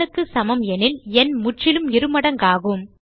n க்கு சமம் எனில் எண் முற்றிலும் இருமடங்காகும்